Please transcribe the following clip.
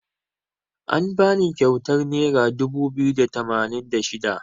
An bani kyautar naira dubu biyu da tamanin da shida.